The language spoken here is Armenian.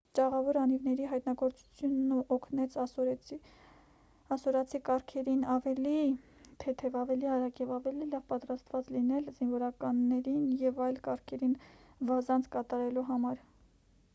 ճաղավոր անիվների հայտնագործությունն օգնեց ասորացի կառքերին ավելի թեթև ավելի արագ և ավելի լավ պատրաստված լինեն զինվորներին և այլ կառքերին վազանց կատարելու համար